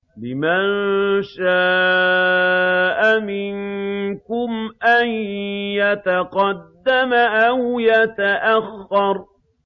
لِمَن شَاءَ مِنكُمْ أَن يَتَقَدَّمَ أَوْ يَتَأَخَّرَ